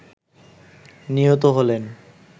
নিহত হলেন